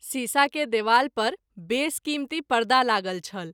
शीशा के देबाल पर बेस कीमती परदा लागल छल।